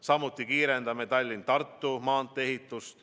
Samuti kiirendame Tallinna–Tartu maantee ehitust.